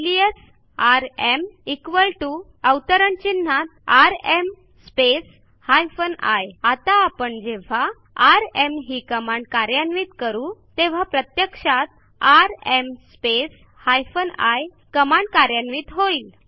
alias rm equal to now within quotes rm space hyphen I आता आपण जेव्हा rm ही कमांड कार्यान्वित करू तेव्हा प्रत्यक्षात आरएम स्पेस आय कमांड कार्यान्वित होईल